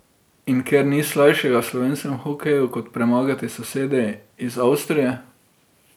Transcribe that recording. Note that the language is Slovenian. In ker, ni slajšega v slovenskem hokeju kot premagati sosede iz Avstrije.